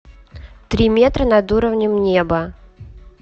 три метра над уровнем неба